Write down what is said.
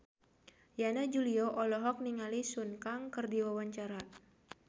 Yana Julio olohok ningali Sun Kang keur diwawancara